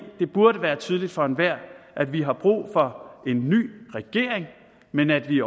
burde være tydeligt for enhver at vi har brug for en ny regering men at vi